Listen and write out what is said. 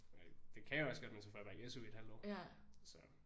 Og det kan jeg også godt men så får jeg bare ikke SU i et halvt år så